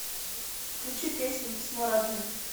включи песня письмо родным